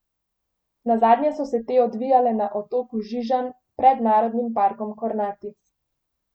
Nazadnje so se te odvijale na otoku Žižanj pred narodnim parkom Kornati.